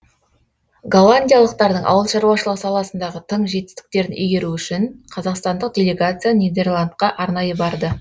голландиялықтардың ауыл шаруашылығы саласындағы тың жетістіктерін игеру үшін қазақстандық делегация нидерландқа арнайы барды